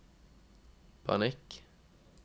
panikk